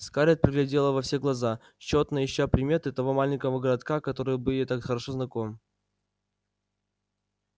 скарлетт глядела во все глаза тщетно ища приметы того маленького городка который был ей так хорошо знаком